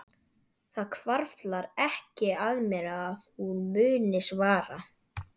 Það hvarflar ekki að mér að hún muni svara.